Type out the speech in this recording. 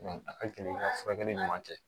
a ka gɛlɛn ka furakɛli ɲuman kɛ